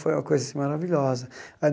Foi uma coisa assim maravilhosa.